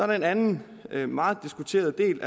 der en anden meget diskuteret del